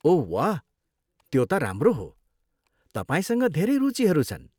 ओह वाह, त्यो त राम्रो हो, तपाईँसँग धेरै रुचिहरू छन्।